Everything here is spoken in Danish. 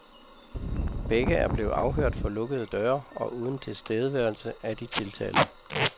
Begge er blevet afhørt for lukkede døre og uden tilstedeværelse af de tiltalte.